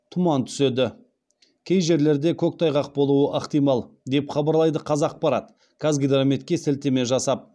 тұман түседі кей жерлерде көктайғақ болуы ықтимал деп хабарлайды қазақпарат қазгидрометке сілтеме жасап